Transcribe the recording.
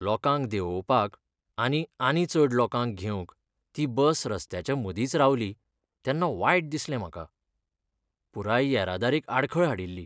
लोकांक देंवोवपाक आनी आनी चड लोकांक घेवंक ती बस रस्त्याच्या मदींच रावली तेन्ना वायट दिसलें म्हाका. पुराय येरादारेक आडखळ हाडिल्ली.